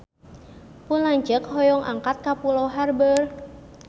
Pun lanceuk hoyong angkat ka Pulau Harbour